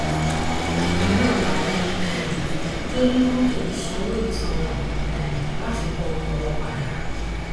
bákan náà làwọn um tó ní mọtò ń sanwó ìtanràn um láti gba ọkọ wọn padà